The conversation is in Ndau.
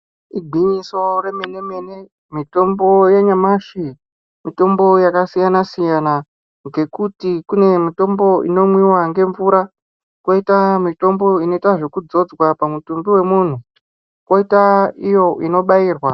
Igwinyiso, remene-mene, mitombo yanyamashi, mitombo yakasiyana-siyana, ngekuti kune mitombo inomwiwa ngemvura, kwoita mitombo inoitwa zvekudzodzwa pamutumbi wemunthu, kwoita iyo inobairwa.